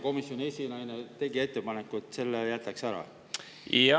Komisjoni esinaine tegi ettepaneku, et jätaks selle ära.